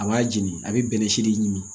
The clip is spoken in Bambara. A b'a jeni a bɛ bɛnɛ si de ɲimi